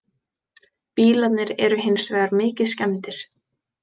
Bílarnir eru hins vegar mikið skemmdir